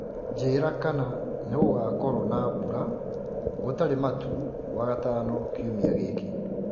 njĩĩra kana ningugakorwo na mbũra gutari matu wagatano kĩumĩa giki